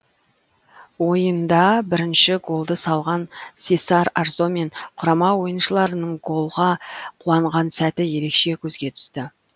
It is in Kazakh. ойында бірінші голды салған сесар арзо мен құрама ойыншыларының голға қуанған сәті ерекше көзге түсті